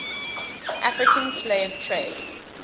african slave trade